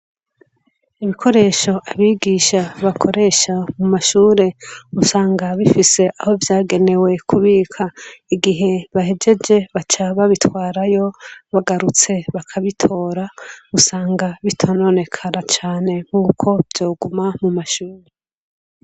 Ibikoresho abigisha bakoresha mumashure usanga bifise Aho vyagenewe kubika igihe bahejeje bacaba babitwarayo bagarutse bakabitora ugasanga bitarononekara .